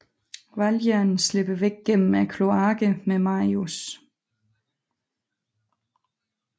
Valjean slipper væk gennem kloakkerne med Marius